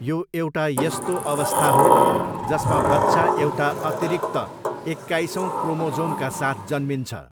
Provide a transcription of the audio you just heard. यो एउटा यस्तो अवस्था हो जसमा बच्चा एउटा अतिरिक्त एक्काइसौँ क्रोमोजोमका साथ जन्मिन्छ।